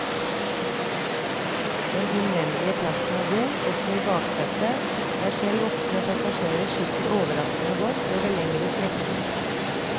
Den innvendige plassen er god, også i baksetet, der selv voksne passasjerer sitter overraskende godt over lengre strekninger.